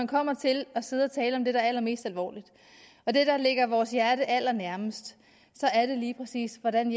kommer til at sidde og tale om det der er allermest alvorligt og det der ligger vores hjerte allernærmest så er det lige præcis hvordan